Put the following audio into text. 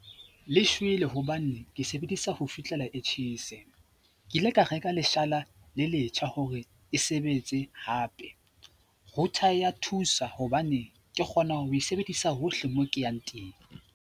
Le shwele hobane ke sebedisa ho fihlella e tjhese. Ke ile ka reka leshala le letjha hore e sebetse hape. Router ya thusa hobane ke kgona ho e sebedisa hohle mo ke yang teng.